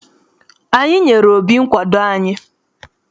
Anyị nyere Obi nkwado anyị.